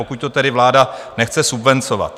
Pokud to tedy vláda nechce subvencovat.